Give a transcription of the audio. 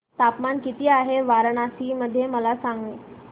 तापमान किती आहे वाराणसी मध्ये मला सांगा